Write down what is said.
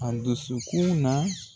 An dusukun na